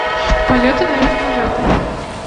полеты на вертолетах